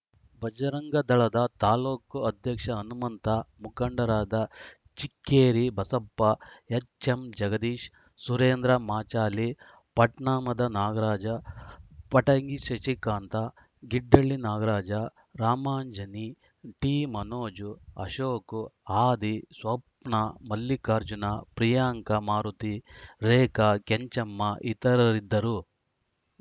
ಬಜರಂಗ ದಳದ ತಾಲೂಕು ಅಧ್ಯಕ್ಷ ಹನುಮಂತ ಮುಖಂಡರಾದ ಚಿಕ್ಕೇರಿ ಬಸಪ್ಪ ಎಚ್‌ಎಂಜಗದೀಶ್‌ ಸುರೇಂದ್ರ ಮಾಂಚಾಲಿ ಪಟ್ನಾಮದ ನಾಗರಾಜ ಪಟಗಿ ಶಶಿಕಾಂತ ಗಿಡ್ಡಹಳ್ಳಿ ನಾಗರಾಜ ರಾಮಾಂಜನಿ ಟಿಮನೋಜ ಅಶೋಕ ಆದಿ ಸ್ವಪ್ನಾ ಮಲ್ಲಿಕಾರ್ಜುನ ಪ್ರಿಯಾಂಕ ಮಾರುತಿ ರೇಖಾ ಕೆಂಚಮ್ಮ ಇತರರಿದ್ದರು